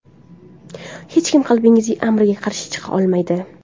Hech kim qalbingiz amriga qarshi chiqa olmaydi.